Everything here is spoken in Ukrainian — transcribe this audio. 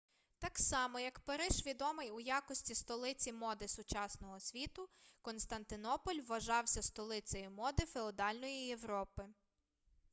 так само як париж відомий у якості столиці моди сучасного світу константинополь вважався столицею моди феодальної європи